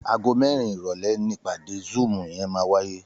Àgó mèrín iròlè nipàdé zùúm yèn màwáyé